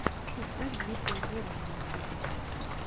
поставь дмитрия мора на ютюбе